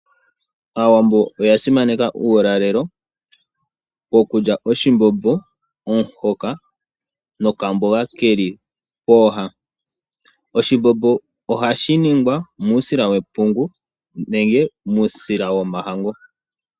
Aawambo oya simaneka uulalelo. Okulya oshimbombo, omuhoka nokamboga keli pooha. Oshimbombo ohashi ningwa muusila wepungu nenge muusila womahangu.